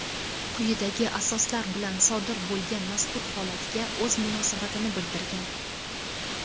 quyidagi asoslar bilan sodir bo‘lgan mazkur holatga o‘z munosabatini bildirgan.